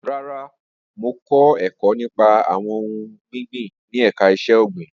Rara, Mo kọ ẹkọ nipa awọn ohun ọgbin ni ẹka iṣẹ-ogbin